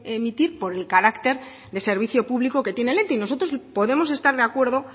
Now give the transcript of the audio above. emitir por el carácter de servicio público que tiene el ente y nosotros podemos estar de acuerdo